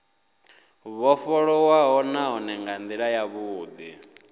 vhofholowaho nahone nga ndila yavhudi